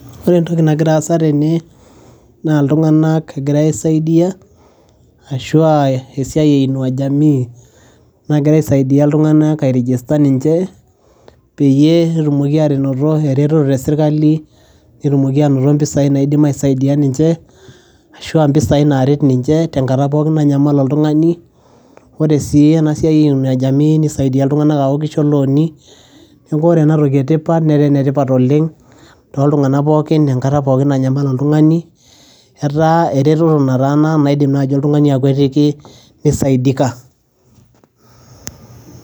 ore entoki nagira aasa tene naa iltung'anak egirae aisaidia ashua esiai e inua jamii nagira aisaidia iltung'anak ae register peyie etumoki anoto eretoto te sirkali netumoki anoto mpisai naidim aisaidia ninche ashua mpisai naret ninche tenkata pookin nanyamal oltung'ani ore sii ena siai e inua jamii nisaidia iltung'anak aaku kisho ilooni neeku ore enatoki etipat netaa enetipat oleng too ltung'anak pookin enkata pookin nanyamal oltung'ani etaa eretoto nataana naidim naaji oltung'ani akwetiki nisaidika.